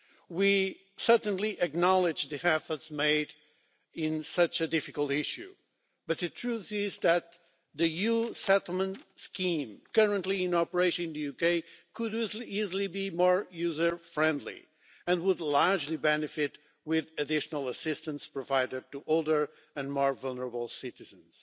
We certainly acknowledge the efforts made on such a difficult issue, but the truth is that the EU settlement scheme currently in operation in the UK could easily be more user friendly and would largely benefit if additional assistance were provided to older and more vulnerable citizens.